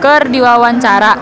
keur diwawancara